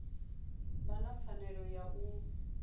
vha na pfanelo ya u